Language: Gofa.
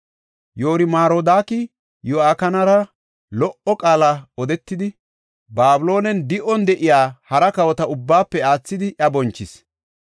Yoor-Marodaaki, Yo7akinara lo77o qaala odetidi, Babiloonen di7on de7iya hara kawota ubbaafe aathidi, iya bonchis.